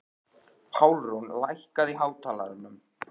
Pálrún, lækkaðu í hátalaranum.